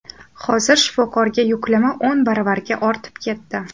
Hozir shifokorga yuklama o‘n baravarga ortib ketdi.